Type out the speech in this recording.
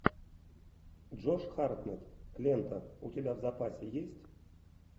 джош хартнетт лента у тебя в запасе есть